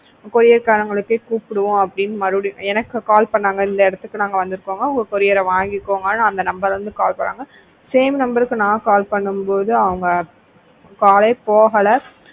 courier காரங்களுக்கே கூப்பிடுவோம் அப்படி மறுபடியும் எனக்கு call பண்ணாங்க இந்த இடத்துக்கு நாங்க வந்து இருக்கோம் உங்க courier வாங்கிக்கோங்க அந்த number ல இருந்து call பண்ணாங்க same number க்கு நான் call பண்ணும் போது அவங்க call போகல